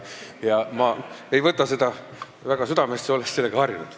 Ma ei võta seda väga südamesse, olen sellega harjunud.